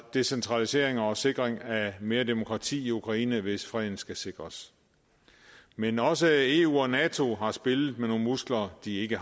decentralisering og sikring af mere demokrati i ukraine hvis freden skal sikres men også eu og nato har spillet med nogle muskler de ikke